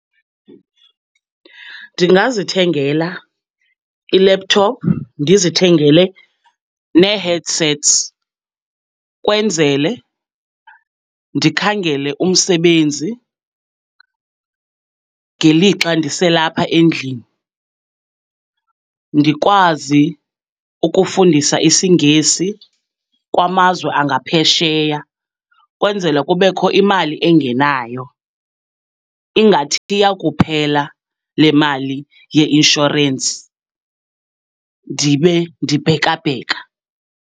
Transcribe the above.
Ndingazithengela i-laptop, ndizithengele neeheadsets, kwenzele ndikhangele umsebenzi ngelixa ndiselapha endlini, ndikwazi ukufundisa isingesi kwamazwe angaphesheya. Kwenzela kubekho imali engenayo, ingathi yawukuphela le mali ye-inshorensi ndibe ndibhekabheka.